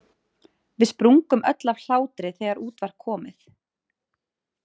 Við sprungum öll af hlátri þegar út var komið.